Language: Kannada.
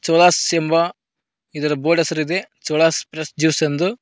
ಚೋಳಾಸ್ ಎಂಬ ಇದರ ಬೋರ್ಡ್ ಹೆಸರಿದೆ ಚೋಳಾಸ್ ಫ್ರಷ್ ಜ್ಯೂಸ್ ಎಂದು.